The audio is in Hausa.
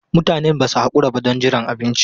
Mutanen ba su haƙura ba don jiran abinci.